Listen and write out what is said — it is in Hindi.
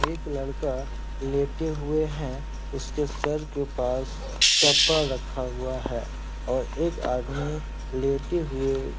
एक लड़का लेटे हुए है। उसके सर के पास चप्पल रखा हुआ है और एक आदमी लेटे हुए --